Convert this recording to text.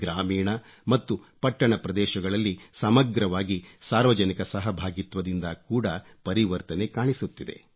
ಗ್ರಾಮೀಣ ಮತ್ತು ಪಟ್ಟಣ ಪ್ರದೇಶಗಳಲ್ಲಿ ಸಮಗ್ರವಾಗಿ ಸಾರ್ವಜನಿಕ ಸಹಭಾಗಿತ್ವದಿಂದ ಕೂಡ ಪರಿವರ್ತನೆ ಕಾಣಿಸುತ್ತಿದೆ